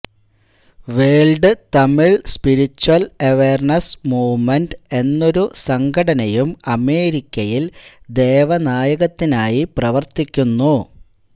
world Tamil spiritual awareness movement എന്നൊരു സംഘടനയും അമേരിക്കയില് ദേവനായകത്തിനായി പ്രവര്ത്തിയ്ക്കുന്നു